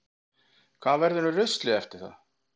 Hvað verður um ruslið eftir það?